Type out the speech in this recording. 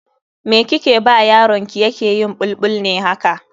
Me kike ba yaron ki yake yin bulbul ne haka?